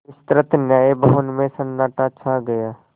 विस्तृत न्याय भवन में सन्नाटा छा गया